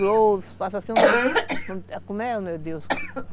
Grosso, passa assim... Como é, meu Deus?